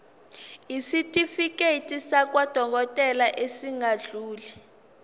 isitifiketi sakwadokodela esingadluli